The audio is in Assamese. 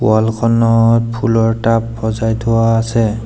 ৱাল খনত ফুলৰ টাব সজাই থোৱা আছে।